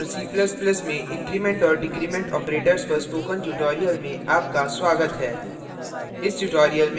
c और c ++ में increment और decrement operators पर spoken tutorial में आपका स्वागत है